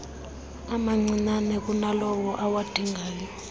amancinnane kunalawo awadingayo